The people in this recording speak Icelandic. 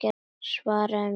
Svaraðu mér!